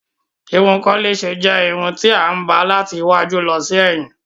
Ìrún kòlẹ̀sè jẹ́ ìrún tí a máa ń ba láti ìwájú lọ sí èyìn.